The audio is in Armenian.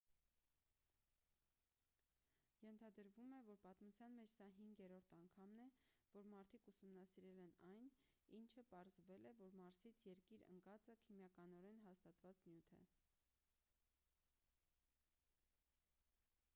ենթադրվում է որ պատմության մեջ սա հինգերորդ անգամն է որ մարդիկ ուսումնասիրել են այն ինչը պարզվել է որ մարսից երկիր ընկածը քիմիականորեն հաստատված նյութ է